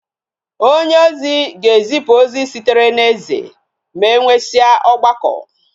onye ozi ga ezipu ozi sitere na eze, ma enwesia ogbako